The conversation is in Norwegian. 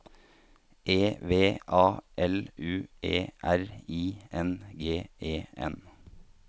E V A L U E R I N G E N